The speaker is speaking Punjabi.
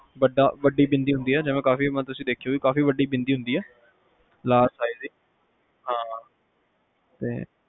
ਵੱਡਾ ਵੱਡੀ ਬਿੰਦੀ ਕਾਫੀ ਮਤਲਬ ਤੁਸੀਂ ਦੇਖੀ ਹੋਣੀ ਆ ਕੇ ਕਾਫੀ ਵੱਡੀ ਬਿੰਦੀ ਹੁੰਦੀ ਆ large size ਦੀ ਹਾ